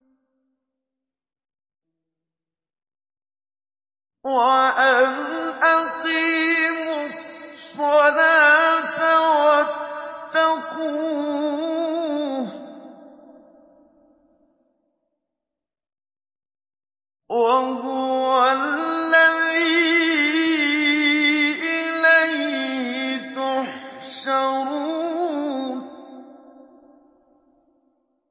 وَأَنْ أَقِيمُوا الصَّلَاةَ وَاتَّقُوهُ ۚ وَهُوَ الَّذِي إِلَيْهِ تُحْشَرُونَ